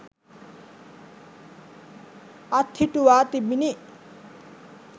අත්හිටුවා තිබිණි.